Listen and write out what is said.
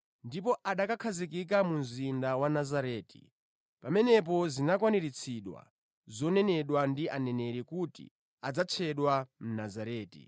ndipo anakakhazikika mu mzinda wa Nazareti. Pamenepo zinakwaniritsidwa zonenedwa ndi aneneri kuti, “Adzatchedwa Mnazareti.”